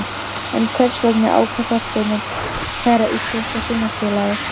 En hvers vegna ákvað Þorsteinn að kæra Íslenska Sjónvarpsfélagið?